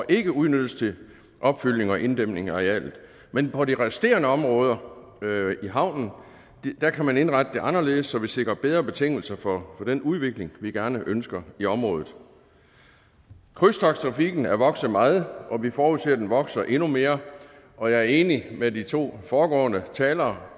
ikke udnyttes til opfyldning og inddæmning af arealet men på de resterende områder i havnen kan man indrette det anderledes så vi sikrer bedre betingelser for den udvikling vi gerne ønsker i området krydstogttrafikken er vokset meget og vi forudser at den vokser endnu mere og jeg er enig med de to foregående talere